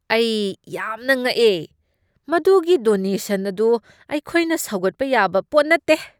ꯑꯩ ꯌꯥꯝꯅ ꯉꯛꯑꯦ! ꯃꯗꯨꯒꯤ ꯗꯣꯅꯦꯁꯟ ꯑꯗꯨ ꯑꯩꯈꯣꯏꯅ ꯁꯧꯒꯠꯄ ꯌꯥꯕ ꯄꯣꯠ ꯅꯠꯇꯦ꯫